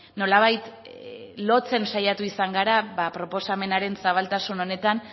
nolabait lotzen saiatu izan gara proposamenaren zabaltasun honetan